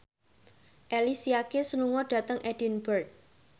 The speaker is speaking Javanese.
Alicia Keys lunga dhateng Edinburgh